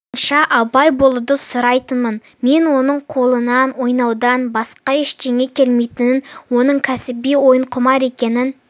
барынша абай болуды сұрайтынмын мен оның қолынан ойнаудан басқа ештеңе келмейтінін оның кәсіби ойынқұмар екенін